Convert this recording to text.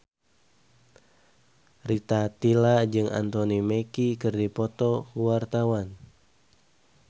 Rita Tila jeung Anthony Mackie keur dipoto ku wartawan